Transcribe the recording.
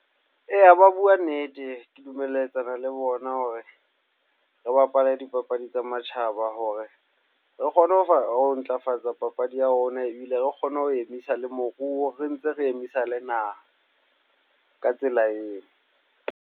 Eya, ba bua nnete. Ke dumelletsana le bona hore re bapale dipapadi tsa matjhaba hore re kgone ho ntlafatsa papadi ya rona, ebile re kgone ho emisa le moruo, re ntse re emisa le naha ka tsela eo.